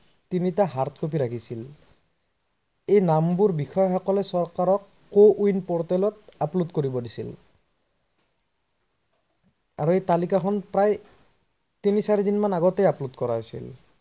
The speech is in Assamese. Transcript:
তিনিটা hard copy ৰাখিছিল। এই নামবোৰ বিষয়াসকলে চৰকাৰক কৰিব দিছিল। আৰু এই তালিকাখন প্ৰায় তিনি চাৰি দিনৰ আগতে approve কৰা হৈছিল।